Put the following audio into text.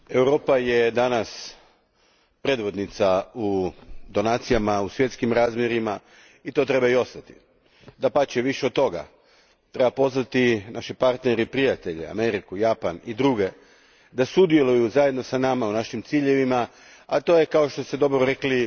Gospodine predsjedniče, Europa je danas predvodnica u donacijama u svjetskim razmjerima, i to treba i ostati. Dapače, više od toga, treba pozvati naše partnere prijatelje Ameriku, Japan i druge da sudjeluju zajedno s nama u našim ciljevima, a to je kao što ste dobro rekli,